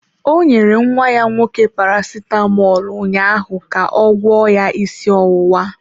Ọ nyere nwa ya nwoke Paracetamọl ụnyaahụ ga ọ gwọọ ya isi ọwụwa